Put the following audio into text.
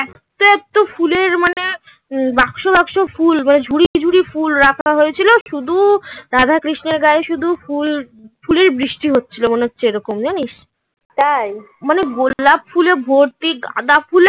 হুম বাক্স বাক্স ফুল মানে ঝুড়ি টু ঝুড়ি ফুল রাখা হয়েছিল. শুধু রাধা কৃষ্ণের গায়ে শুধু ফুল ফুলের বৃষ্টি হচ্ছিল মনে হচ্ছে এরকম জানিস তাই মানে গোলাপ ফুলে ভর্তি গাঁদা ফুলে